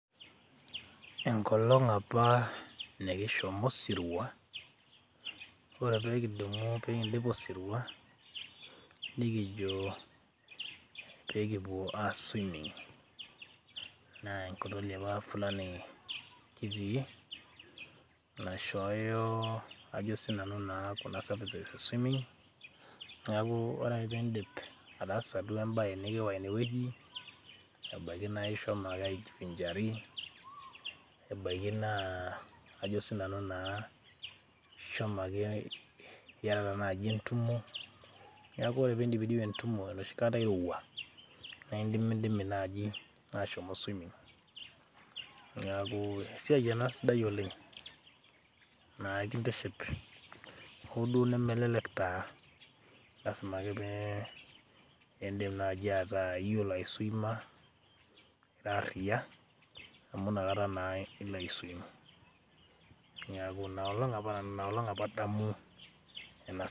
Enkolong apa nikishomo osirwa ore pekindimu pekindip osirwa nikijo pekipuo aar swimming [vs]fulani naishooyo ajo naa sinanu kuna services e swimming neaku ore peindip ataasa duo embae nikiyawa inewueji neji nai embaki naa ishomo ake iyatata nai entumo ,neaku ore peindipidipi entumo enoshi kata irowua na indimidimi nai ashomoita swimming neaku esiai ena sidai oleng naitiship hoo duo nemelelek taa lasima ake nai peaku iyolo aiswima ira ariya amu nakata naake iswim, inolong apa nanu, inolong apa adamu ena.